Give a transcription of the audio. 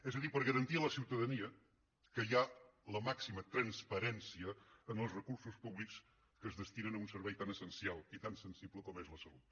és a dir per garantir a la ciutadania que hi ha la màxima transparència en els recursos públics que es destinen a un servei tan essencial i tan sensible com és la salut